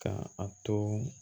Ka a to